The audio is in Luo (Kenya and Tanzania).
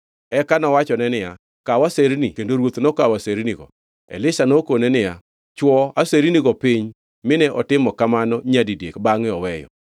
Eka nowachone niya, “Kaw aserni kendo ruoth nokawo asernigo.” Elisha nokone niya, “Chwo asernigo piny, mine otimo kamano nyadidek bangʼe oweyo.”